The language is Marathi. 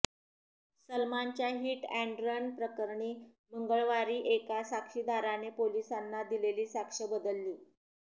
सलमानच्या हिट अॅन्ड रन प्रकरणी मंगळवारी एका साक्षीदाराने पोलिसांना दिलेली साक्ष बदलली